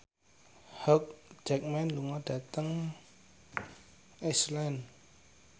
Hugh Jackman lunga dhateng Iceland